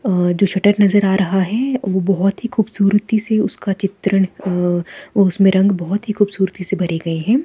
अ जो शटर नजर आ रहा है वो बहोत ही खूबसूरती से उसका चित्रण अ उसमें रंग बहोत ही खूबसूरती से भरे गए हैं।